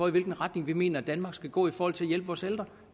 i hvilken retning vi mener danmark skal gå i forhold til at hjælpe vores ældre